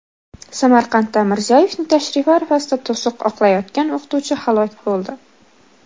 Samarqandda Mirziyoyevning tashrifi arafasida to‘siq oqlayotgan o‘qituvchi halok bo‘ldi.